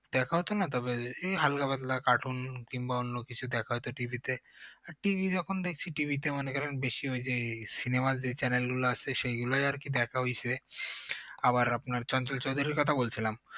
দেখা হতো না তবে এই হালকা পাতলা cartoon কিংবা অন্য কিছু দেখা হতো TV তে আর TV যখন দেখছি TV তে মনে করেন বেশিরভাগ যে এই cinema র যে channel গুলো আছে সেগুলাই আর কি দেখা হয়েছে আবার আপনার চঞ্চল চৌধুরীর কথা বলছিলাম